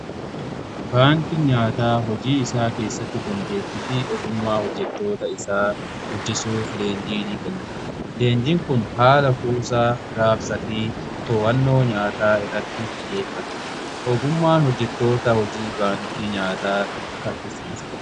Baankii nyaataa hojii isaa keessatti dandeetti fi ogummaa hojjetoota isaa guddisuu fi leenjii ni kenna. Leenjiin kun haala kuusaa raabsaa fi to'annoo nyaataa irratti xiyyeeffata. Ogummaan hojjetoota hojii baankii nyaataa saffisiisa.